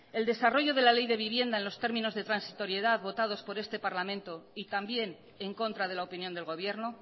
el desarrollo de la ley de vivienda en los términos de transitoriedad votados por este parlamento y también en contra de la opinión del gobierno